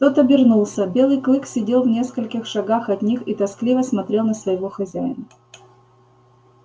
тот обернулся белый клык сидел в нескольких шагах от них и тоскливо смотрел на своего хозяина